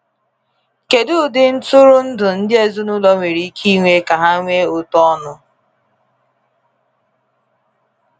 Kedu ụdị ntụrụndụ ndị ezinụlọ nwere ike ịnwe ka ha nwee ụtọ ọnụ?